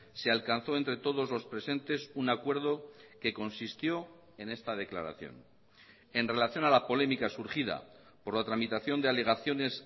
se alcanzó entre todos los presentes un acuerdo que consistió en esta declaración en relación a la polémica surgida por la tramitación de alegaciones